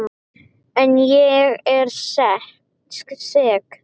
En ég er sek.